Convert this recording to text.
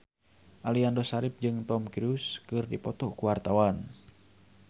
Aliando Syarif jeung Tom Cruise keur dipoto ku wartawan